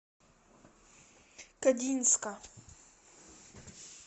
кодинска